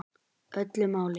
Öllu máli.